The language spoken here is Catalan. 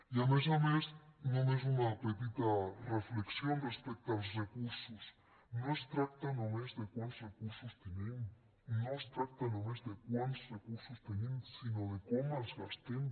i a més a més només una petita reflexió respecte als recursos no es tracta només de quants recursos tenim no es tracta només de quants recursos tenim sinó de com els gastem